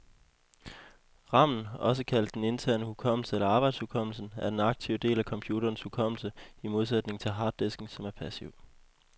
Ramen, også kaldet den interne hukommelse eller arbejdshukommelsen, er den aktive del af computerens hukommelse, i modsætning til harddisken, som er passiv.